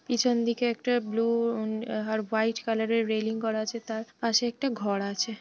পিছন দিকে একটা ব্লু উম আর হোয়াইট কালারের রেলিং করা আছে। তার পাশে একটা ঘর আছে।